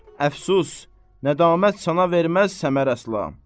Əfsus, nədamət sənə verməz səmər əsla.